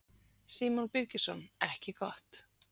Símon Birgisson: Ekki gott?